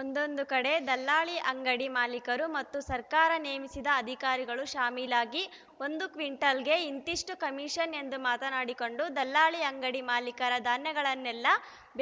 ಒಂದೊಂದು ಕಡೆ ದಲ್ಲಾಳಿ ಅಂಗಡಿ ಮಾಲಿಕರು ಮತ್ತು ಸರ್ಕಾರ ನೇಮಿಸಿದ ಅಧಿಕಾರಿಗಳು ಶಾಮೀಲಾಗಿ ಒಂದು ಕ್ವಿಂಟಲಗೆ ಇಂತಿಷ್ಟುಕಮಿಷನ್‌ ಎಂದು ಮಾತಾಡಿಕೊಂಡು ದಲ್ಲಾಳಿ ಅಂಗಡಿ ಮಾಲಿಕರ ಧಾನ್ಯಗಳನ್ನೇ